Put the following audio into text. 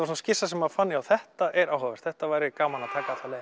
svona skissa sem maður fann já þetta er áhugavert þetta væri gaman að taka alla leið